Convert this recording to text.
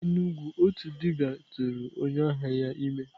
N'Enugwu, otu dibia tụrụ onye ahịa ya ime.